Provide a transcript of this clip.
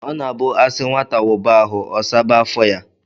O na-abu a si nwata wuba ahu, o saba afo ya.